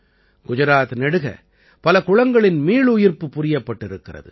குஜராத் நெடுக பல குளங்களின் மீளுயிர்ப்பு புரியப்பட்டிருக்கிறது